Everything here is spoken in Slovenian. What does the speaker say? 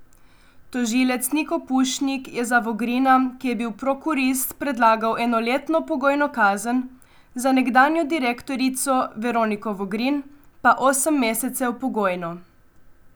Tožilec Niko Pušnik je za Vogrina, ki je bil prokurist, predlagal enoletno pogojno kazen, za nekdanjo direktorico Veroniko Vogrin pa osem mesecev pogojno.